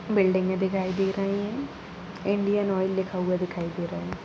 बिल्डिंगे दिखाई दे रही हैं इंडियन ऑयल लिखा हुआ दिखाई दे रहा है।